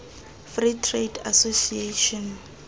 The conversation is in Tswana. free trade association